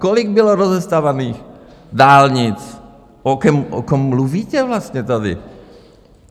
Kolik bylo rozestavěných dálnic, o kom mluvíte vlastně tady?